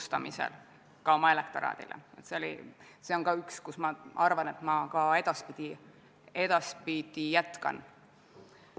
Seega oleks meie ettepaneku kohaselt NATO Parlamentaarse Assamblee Eesti delegatsiooni koosseis pärast otsuse vastuvõtmist selline: delegatsiooni juht Oudekki Loone, liikmed Ants Laaneots ja Andres Metsoja ning asendusliikmed Leo Kunnas ja Jevgeni Ossinovski.